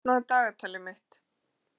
Steina, opnaðu dagatalið mitt.